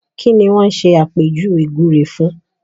Kí ni wọ́n ṣàpèjúwe gbúre fún?